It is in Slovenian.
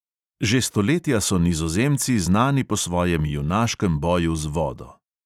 Že stoletja so nizozemci znani po svojem junaškem boju z vodo.